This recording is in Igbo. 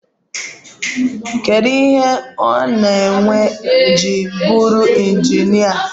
Kedu ihe ọ na-ewe iji bụrụ onye injinia?